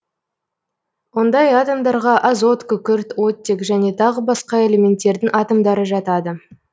ондай атомдарға азот күкірт оттек және тағы басқа элементтердің атомдары жатады